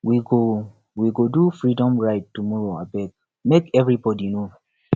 we go we go do freedom ride tomorrowabeg make everyone know